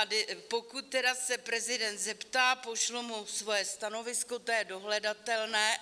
A pokud se tedy prezident zeptá, pošlu mu svoje stanovisko, to je dohledatelné.